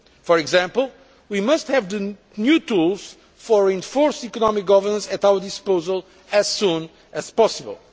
For example, we must have the new tools for reinforced economic governance at our disposal as soon as possible.